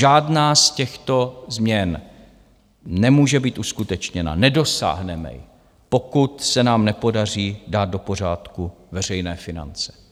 Žádná z těchto změn nemůže být uskutečněna, nedosáhneme ji, pokud se nám nepodaří dát do pořádku veřejné finance.